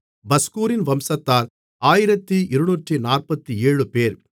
பஸ்கூரின் வம்சத்தார் 1247 பேர்